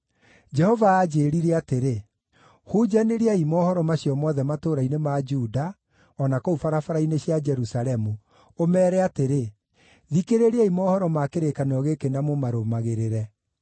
Jehova aanjĩĩrire atĩrĩ, “Hunjanĩriai mohoro macio mothe matũũra-inĩ ma Juda o na kũu barabara-inĩ cia Jerusalemu, ũmeere atĩrĩ: ‘Thikĩrĩriai mohoro ma kĩrĩkanĩro gĩkĩ na mũmarũmagĩrĩre.